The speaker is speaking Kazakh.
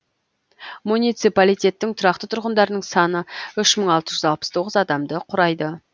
муниципалитеттің тұрақты тұрғындарының саны үш мың алты жүз алпыс тоғыз адамды құрайды